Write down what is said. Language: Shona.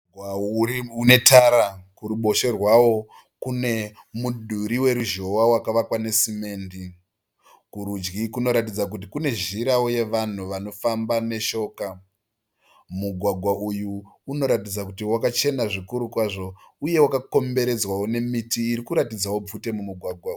Mugwagwa unetara. Kuruboshwe rwawo kune mudhuri weruzhowa wakavakwa nesimende. Kurudyi kunoratidza kuti kune zhirawo yevanhu vanofamba neshoka. Mugwagwa uyu unoratidza kuti wakachena zvikuru kwazvo uye wakakomberedzwawo nemiti iri kuratidzawo bvute mumugwagwa umu.